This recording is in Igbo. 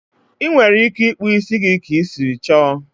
Ị nwere ike ịkpụ ísí gị ka i siri chọ